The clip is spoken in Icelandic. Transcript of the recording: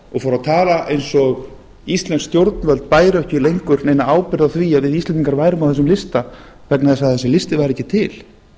og fór að tala eins og íslensk stjórnvöld bæru ekki lengur neina ábyrgð á því að við íslendingar værum á þessum lista vegna þess að þessi listi væri ekki til